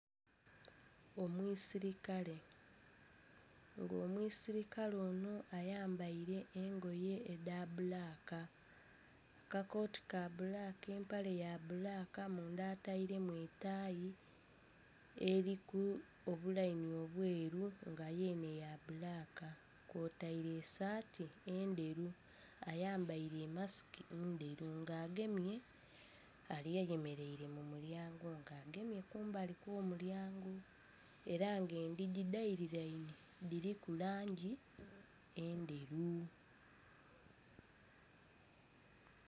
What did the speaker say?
Omwisilikale, nga omwisilikale ono ayambaire engoye edha bbulaaka. Kakooti ka bbulaaka, empale ya bbulaaka, munda atairemu etaayi eliku obulayini obweru nga yenhe ya bbulaaka, kwotaire esaati endheru. Ayambaile e masiki ndheru nga agemye...ayemeleire mu lyango nga agemye kumbali kw'omulyango, era ng'endhigi dhaililainhe dhiliku langi endheru.